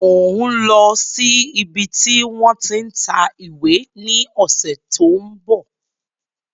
Mòń lọ sí ibi tí wọ́n tí ń ta ìwé ní ọ̀sẹ̀ tí ó ń bọ̀